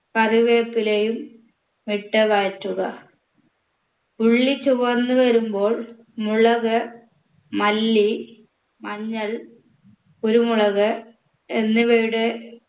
കറിവേപ്പിലയും ഇട്ട് വഴറ്റുക ഉള്ളി ചുവന്ന് വരുമ്പോൾ മുളക് മല്ലി മഞ്ഞൾ കുരുമുളക് എന്നിവയുടെ